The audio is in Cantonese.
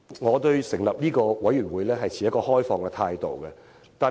我對於成立中產事務委員會持開放態度。